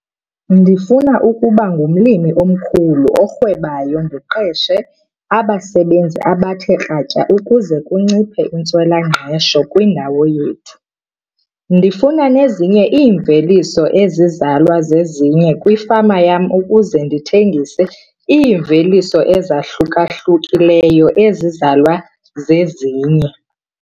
Ndifuna ukuba ngumlimi omkhulu orhwebayo ndiqeshe abasebenzi abathe kratya ukuze kunciphe intswela-ngqesho kwindawo yethu. Ndifuna nezinye iimveliso ezizalwa zezinye kwifama yam ukuze ndithengise iimveliso ezahluka-hlukileyo ezizalwa zezinye.